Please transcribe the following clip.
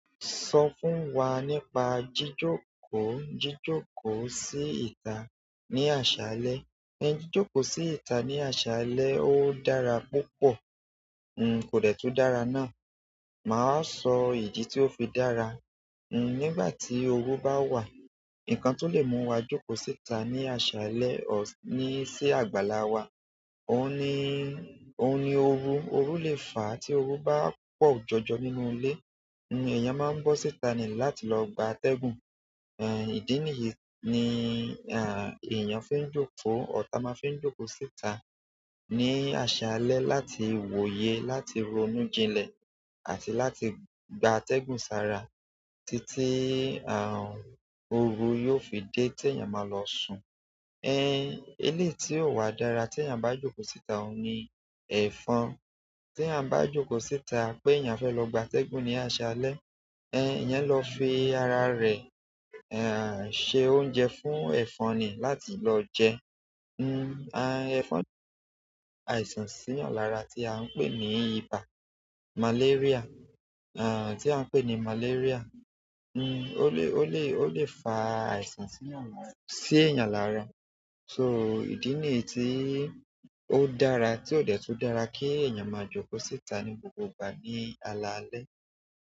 Sọ fún wa nípa jíjókòó, jíjókòó sí ìta ní àṣálẹ́. Ẹ́ jíjókòó sí ìta ní àṣálẹ́ ó dára púpọ̀. N kò dẹ̀tú dára náà. Mà á sọ ìdí tí ó fi dàrà. N nígbà tí oru bá wà, ǹkan tó lè mú wa jókòó sí ìta ní àṣálẹ́ ọ̀ ní sí àgbàlá wa òun ni, òun ni oru. Oru lè fà á tí oru bá pọ̀ jọjọ nínú ilé. Ni ẹ̀yàn máa ń bọ́ sí ìta ní láti lọ gba atẹ́gùn. Ẹ̀ ìdí nìyí ni, à eyàn fi n jókòó. Ọ̀un la máa ń fé jókòó sí ìta ní àṣálẹ́ láti wòye, láti ronú jinlẹ̀ àti láti gba atẹ́gùn sára títí àrùn oru yóò fi dé tí ẹ̀yàn máa lọ sùn. Ẹ̀ elé tí ò wà dára tí ẹ̀yàn bá jókòó sí ìta òun ni ẹ̀fọn. Tí a bá jókòó sí ìta pé eyànfé lọ gba atẹ́gùn ní àṣálẹ́, ẹ̀ ẹ̀yàn lọ fi ara rẹ̀, à ṣe oúnjẹ fún ẹ̀fọn ní láti lọ jẹ. N à ẹ̀fọn lè fà àìsàn sí ẹ̀yàn lára tí à ń pè ní ibà, màléríà, à tí à ń pè ní màléríà. N ó lè, ó lè, ó lè fà àìsàn sí ẹ̀yàn lára. So idi niyi to dára ti o de tun dára ki eyan ma joko síta ni ala alẹ́.